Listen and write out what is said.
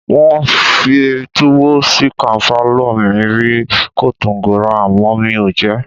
Wọ́n fi túwó-ṣìkànfà lọ mí rí ni Kotàngòra àmọ́ mi ò jẹ ẹ́.